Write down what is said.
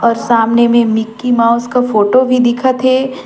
और सामने में मिकी माउस का फोटो भी दिखत है।